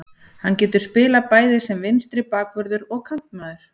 Hann getur spilað bæði sem vinstri bakvörður og kantmaður.